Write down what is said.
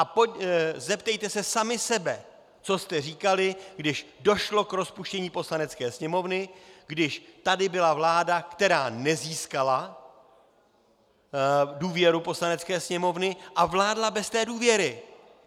A zeptejte se sami sebe, co jste říkali, když došlo k rozpuštění Poslanecké sněmovny, když tady byla vláda, která nezískala důvěru Poslanecké sněmovny a vládla bez té důvěry.